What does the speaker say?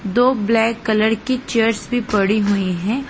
दो black colour की chairs भी पड़ी हुई हैं।